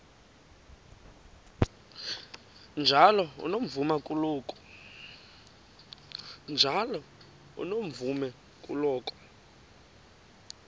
njalo unomvume kuloko